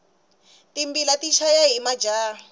timbila ti chaya hi majaha